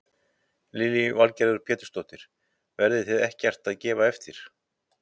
Lillý Valgerður Pétursdóttir: Verðið þið ekkert að gefa eftir?